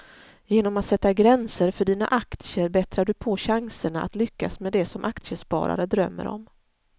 Genom att sätta gränser för dina aktier bättrar du på chanserna att lyckas med det som aktiesparare drömmer om.